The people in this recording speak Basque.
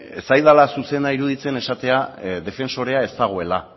ez zaidala zuzena iruditzen esatea defensorea ez dagoela